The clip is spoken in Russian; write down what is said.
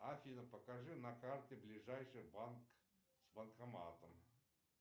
афина покажи на карте ближайший банк с банкоматом